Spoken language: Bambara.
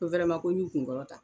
Ko wɛrɛman ko n y'u kun kɔrɔta